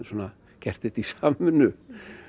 gert þetta í